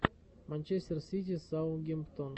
манчестер сити саутгемптон